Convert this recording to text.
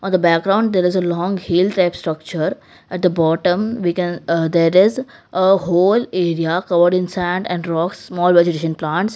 at the background there is a long hill type structure at the bottom we can ah there is a whole area covered in sand and rocks small vegetation plants.